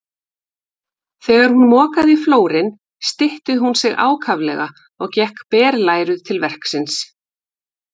Þegar hún mokaði flórinn stytti hún sig ákaflega og gekk berlæruð til verksins.